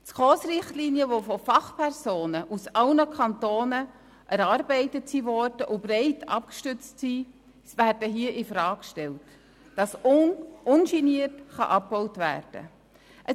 Die SKOS-Richtlinien, die von Fachpersonen aus allen Kantonen erarbeitet wurden und breit abgestützt sind, werden hier infrage gestellt, damit ungeniert abgebaut werden kann.